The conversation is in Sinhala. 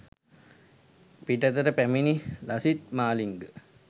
පිටතට පැමිණි ලසිත් මාලිංග